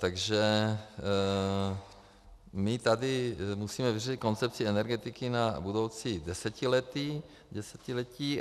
Takže my tady musíme vyřešit koncepci energetiky na budoucí desetiletí.